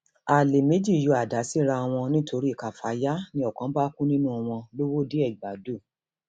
alẹ méjì yọ àdá síra wọn nítorí káfááyà ni ọkan bá kú nínú wọn lọwọdeẹgbàdo